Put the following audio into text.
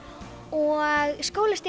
og